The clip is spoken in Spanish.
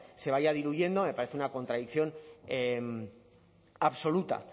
se vaya diluyendo me parece una contradicción absoluta